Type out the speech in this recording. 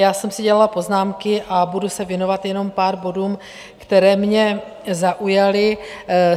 Já jsem si dělala poznámky a budu se věnovat jenom pár bodům, které mě zaujaly.